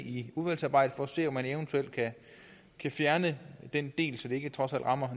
i udvalgsarbejdet for at se om man eventuelt kan fjerne den del så det ikke rammer